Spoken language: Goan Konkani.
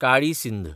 काळी सिंध